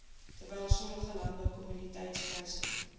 terwyl sommige landboukommoditetispryse